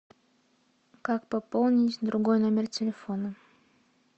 как пополнить другой номер телефона